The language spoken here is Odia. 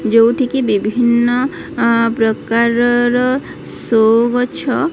ଯୋଉଠିକି ବିଭିନ୍ନ ଅଁ ପ୍ରକାରର ଶୋ ଗଛ --